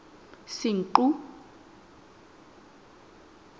senqu